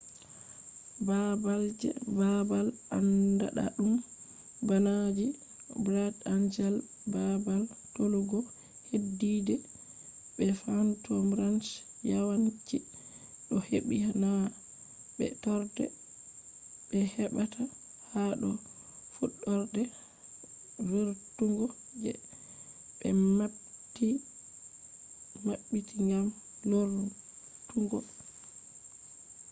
babal je babal anɗaɗum bana je bright angel babal tolugo heddide be phantom ranch yawanci do hebbi na be torde be hebata ha do fuɗarde vurtugo je be mabbiti gam lornutuggo